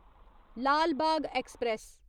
Lal Bagh express